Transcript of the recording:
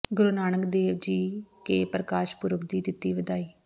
ਗੁਰੂ ਨਾਨਕ ਦੇਵ ਜੀ ਕੇ ਪ੍ਰਕਾਸ਼ ਪੁਰਬ ਦੀ ਦਿੱਤੀ ਵਧਾਈ